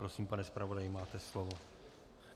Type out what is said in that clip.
Prosím, pane zpravodaji, máte slovo.